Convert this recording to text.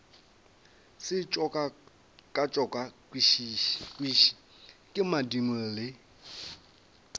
se tšokatšokišwe ke madimo le